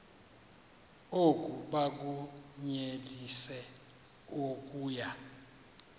oku bakunyelise okuya